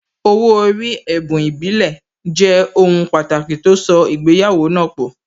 Owó orí, ẹ̀bùn ìbílẹ̀, jẹ́ ohun pàtàkì tó so ìgbéyàwó náà pọ̀